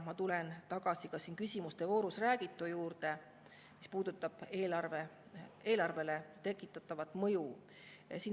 Ma tulen tagasi ka siin küsimuste voorus räägitu juurde, mis puudutab eelarvele tekitatavat mõju.